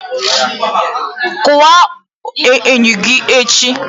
Kụwaa enyo gị echi!